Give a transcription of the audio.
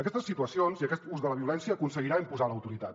aquestes situacions i aquest ús de la violència aconseguiran imposar l’autoritat